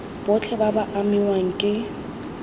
botlhe ba ba amiwang ke